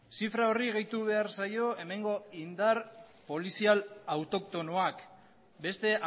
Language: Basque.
zifra horri gehitu behar zaio hemengo indar polizia autoktonoak beste